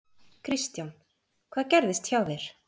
Kristján: Hvað gerðist hjá þér?